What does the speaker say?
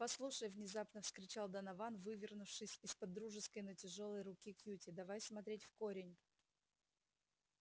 послушай внезапно вскричал донован вывернувшись из под дружеской но тяжёлой руки кьюти давай смотреть в корень